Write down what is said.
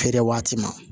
Feere waati ma